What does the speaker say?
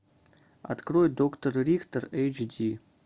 открой доктор рихтер эйч ди